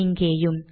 இங்கேயும்